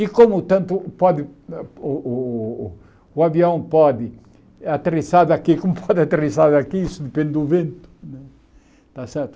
E como tanto pode o o o avião pode aterrissar daqui, como pode aterrissar daqui, isso depende do vento. Está certo